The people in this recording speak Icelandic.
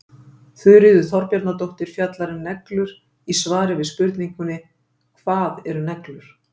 Þuríður Þorbjarnardóttir fjallar um neglur í svari við spurningunni Hvað eru neglur?